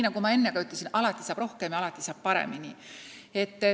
Nagu ma enne ütlesin, alati saab rohkem ja alati saab paremini.